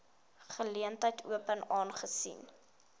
geleentheid open aangesien